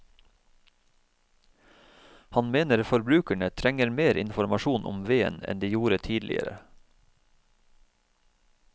Han mener forbrukerne trenger mer informasjon om veden enn de gjorde tidligere.